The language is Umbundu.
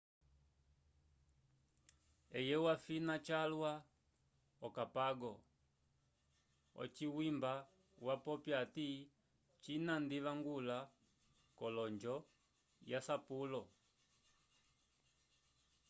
eye wafina cyalwa ocapago ocwimba wapopya ati cina ndivangulo colonjo yasapulo